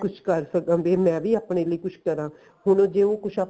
ਕੁੱਝ ਕਰ ਸਕਣ ਤੇ ਮੈਂ ਵੀ ਆਪਣੇ ਲੈ ਕੁੱਝ ਕਰਾ ਹੁਣ ਜੇ ਉਹ ਕੁੱਝ ਆਪਣੇ